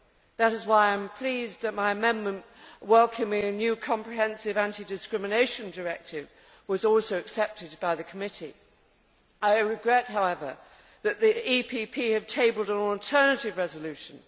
That is why I am pleased that my amendment welcoming a new comprehensive anti discrimination directive was also accepted by the committee. I regret, however, that the PPE DE Group has tabled an alternative resolution.